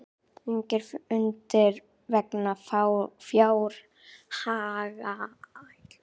Engir fundir vegna fjárhagsáætlunar